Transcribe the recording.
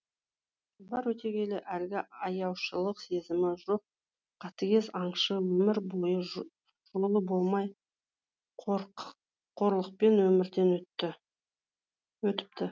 жылдар өте келе әлгі аяушылық сезімі жоқ қатыгез аңшы өмір бойы жолы болмай қорлықпен өмірден өтіпті